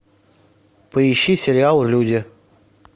поищи сериал люди